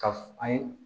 Ka f an ye